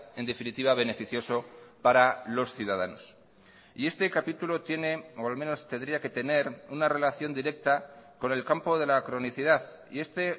en definitiva beneficioso para los ciudadanos y este capítulo tiene o al menos tendría que tener una relación directa con el campo de la cronicidad y este